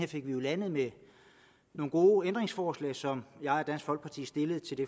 fik den landet med nogle gode ændringsforslag som jeg og dansk folkeparti stillede til det